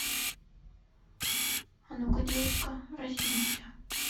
а ну ка девочка разденься